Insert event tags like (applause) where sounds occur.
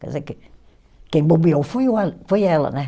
Quer dizer, que quem bobeou foi (unintelligible) foi ela, né?